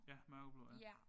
Ja mørkeblå ja